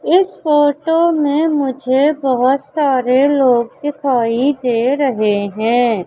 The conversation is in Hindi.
इस फोटो में मुझे बहोत सारे लोग दिखाई दे रहे हैं।